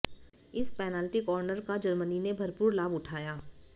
इस penalty corner का Germany ने भरपूर लाभ उठाया